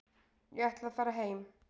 Ég ætla að fara heim.